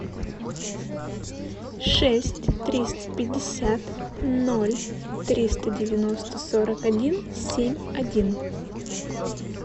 шесть триста пятьдесят ноль триста девяносто сорок один семь один